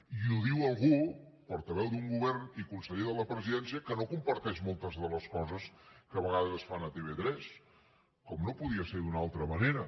i ho diu algú portaveu d’un govern i conseller de la presidència que no comparteix moltes de les coses que a vegades es fan a tv3 com no podia ser d’una altra manera